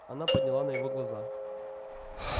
она подняла на его глаза